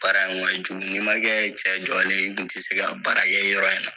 Baara in kun ka jugu n'i man kɛ cɛ jɔlen ye i dun tɛ se ka baara kɛ yɔrɔ in na.